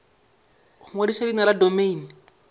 go ngwadiša leina la domeine